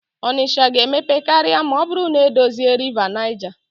Onitsha ga-emepe karịa ma ọ bụrụ na-edozie Rịva Naịja.